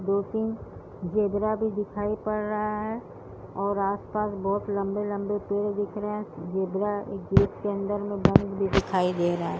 दो तीन ज़ेबरा भी दिखाई पद रहा है और आस-पास बहुत लम्बे-लम्बे पेड़ दिख रहे हैं ज़ेबरा एक गेट के अंदर में बंद भी दिखाई दे रहा है।